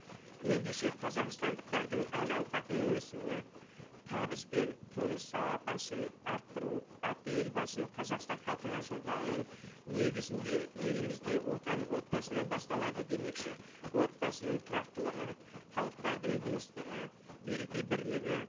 ендеше қазақстандықтардың әл ауқатының өсуі табыс пен тұрмыс сапасын арттыру атты елбасының қазақстан халқына жолдауының негізінде елімізде отан отбасынан басталады демекші отбасының тұрақтылығы халықтардың достығы береке бірлігі